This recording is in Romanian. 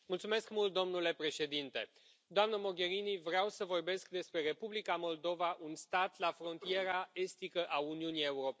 Domnule Președinte, doamnă Mogherini, vreau să vorbesc despre Republica Moldova, un stat la frontiera estică a Uniunii Europene.